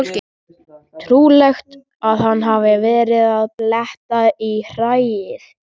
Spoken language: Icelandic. Trúlegt að hann hafi verið að bletta í hræið.